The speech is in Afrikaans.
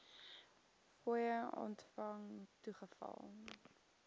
fooie ontvang toegeval